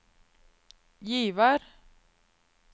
Givær